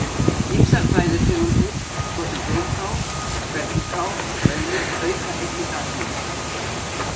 Ýmsar fæðutegundir svo sem blómkál, spergilkál og baunir auka einnig gasmyndun.